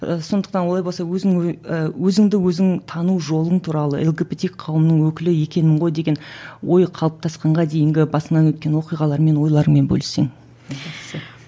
і сондықтан олай болса өзің і өзіңді өзің тану жолың туралы лгбт қауымының өкілі екенмін ғой деген ой қалыптасқанға дейінгі басыңнан өткен оқиғаларыңмен ойларыңмен бөліссең